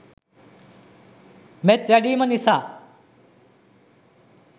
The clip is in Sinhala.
මෙත් වැඩීම නිසා